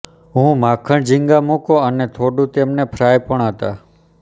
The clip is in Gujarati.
હું માખણ ઝીંગા મૂકો અને થોડું તેમને ફ્રાય પણ હતા